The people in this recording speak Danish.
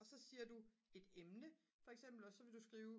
og så siger du et emne for eksempel og så vil du skrive